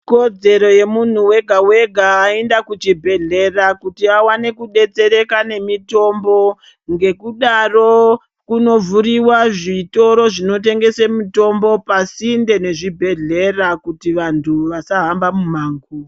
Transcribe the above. ...kodzero yemunhu wega-wega aenda kuchibhehlera kuti awane kudetsereka nemitombo. Ngekudaro kunovhuriwa zvitoro zvinotengese mutombo pasinde nezvibhehlera kuti vantu vasahamba mumango.